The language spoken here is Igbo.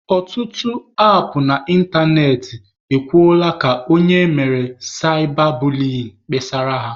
Ọtụtụ apụ na ịntanetị e kwuola ka onye emere saịba buliyin kpesara ha.